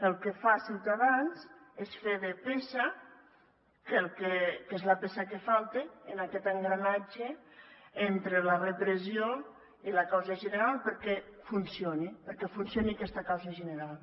el que fa ciutadans és fer de peça que és la peça que falta en aquest engranatge entre la repressió i la causa general perquè funcioni perquè funcioni aquesta causa general